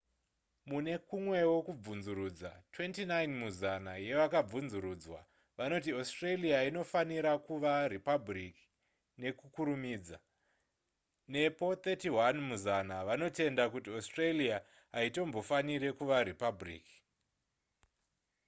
mune kumwewo kubvunzurudza 29 muzana yevakabvunzurudzwa vanoti australia inofanira kuva ripabhuriki nekukurumidza nepo 31 muzana vanotenda kuti australia haitombofaniri kuva ripabhuriki